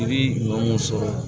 Yiri ɲuman mun sɔrɔ